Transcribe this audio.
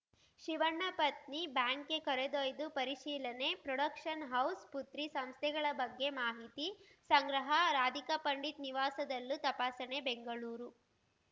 ಶಿವಣ್ಣ ಪತ್ನಿ ಬ್ಯಾಂಕ್‌ಗೆ ಕರೆದೊಯ್ದು ಪರಿಶೀಲನೆ ಪ್ರೊಡಕ್ಷನ್‌ ಹೌಸ್‌ ಪುತ್ರಿ ಸಂಸ್ಥೆಗಳ ಬಗ್ಗೆ ಮಾಹಿತಿ ಸಂಗ್ರಹ ರಾಧಿಕಾ ಪಂಡಿತ್‌ ನಿವಾಸದಲ್ಲೂ ತಪಾಸಣೆ ಬೆಂಗಳೂರು